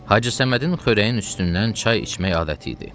Hacı Səmədin xörəyin üstündən çay içmək adəti idi.